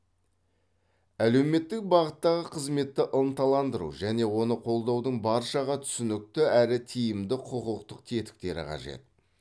әлеуметтік бағыттағы қызметті ынталандыру және оны қолдаудың баршаға түсінікті әрі тиімді құқықтық тетіктері қажет